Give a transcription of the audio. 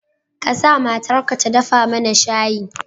Ka sa matarka ta dafa mana shayi.